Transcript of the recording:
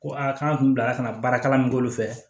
Ko aa k'an kun bilara ka na baarakalan min k'olu fɛ